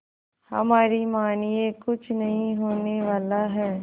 हमारी मानिए कुछ नहीं होने वाला है